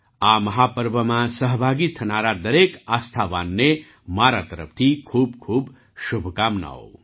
આ મહાપર્વમાં સહભાગી થનારા દરેક આસ્થાવાનને મારા તરફથી ખૂબખૂબ શુભકામનાઓ